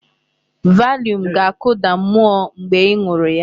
Valium ga-akụda mmụọ mgbe ị ṅụrụ ya.